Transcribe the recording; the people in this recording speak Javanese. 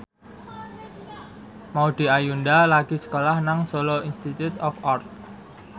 Maudy Ayunda lagi sekolah nang Solo Institute of Art